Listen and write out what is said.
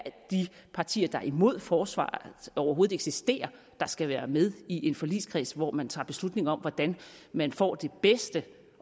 de partier der er imod at forsvaret overhovedet eksisterer der skal være med i en forligskreds hvor man tager beslutning om hvordan man får det bedste